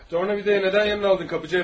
Tornavidaı niyə yanına aldın, qapıçı əfəndi?